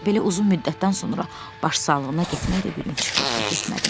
Belə uzun müddətdən sonra başsağlığına getmək də bir gün çıxırdı, getmədim.